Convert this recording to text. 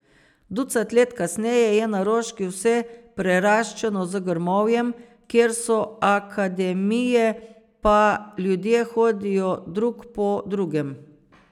Ducat let kasneje je na Roški vse preraščeno z grmovjem, kjer so akademije, pa ljudje hodijo drug po drugem.